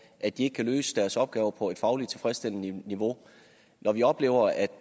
at de ikke kan løse deres opgaver på et fagligt tilfredsstillende niveau når vi oplever at